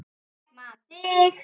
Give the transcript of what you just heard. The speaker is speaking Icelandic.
Ég man þig.